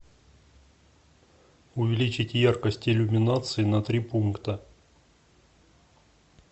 увеличить яркость иллюминации на три пункта